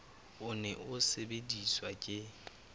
o ne o sebediswa ke